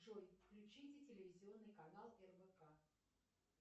джой включите телевизионный канал рбк